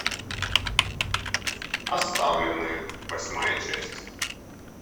оставленные восьмая часть